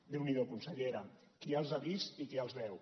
deu n’hi do consellera qui els ha vist i qui els veu